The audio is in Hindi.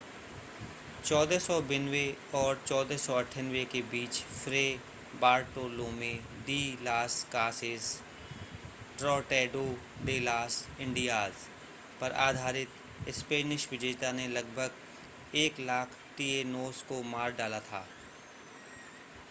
1492 और 1498 के बीच Fray Bartolome de las Casas Tratado de las Indias पर आधारित स्पेनिश विजेता ने लगभग 100,000 टिएनोस को मार डाला था